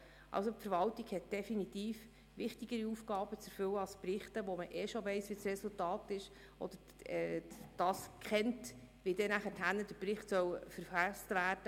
Die Verwaltung hat definitiv wichtigere Aufgaben zu erfüllen, als Berichte zu verfassen, deren Inhalte und Resultat man bereits kennt.